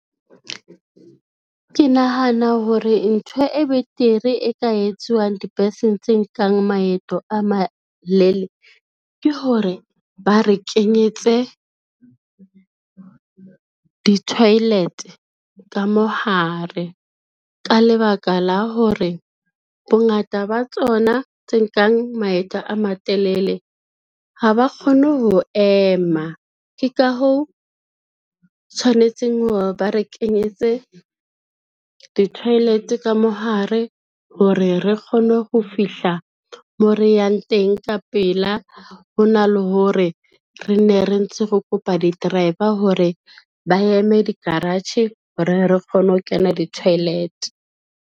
Ke nahana hore ntho e betere e ka etsuwang dibeseng tse nkang maeto a malele ke hore, ba re kenyetse di-toilet ka mohare, ka lebaka la hore bongata ba tsona tse nkang maeto a matelele ha ba kgone ho ema. Ke ka hoo, tshwanetseng hore ba re kenyetse di-toilet ka mohare hore re kgone ho fihla mo re yang teng ka pela, hona le hore re nne re ntse re kopa di-driver hore ba eme di-garage, hore re kgone ho kena di-toilet.